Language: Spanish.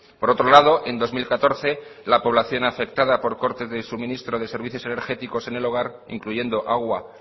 por otro lado en dos mil catorce la población afectada por cortes de suministro de servicios energéticos en el hogar incluyendo agua